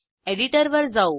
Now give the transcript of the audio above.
एडिटरवर जाऊ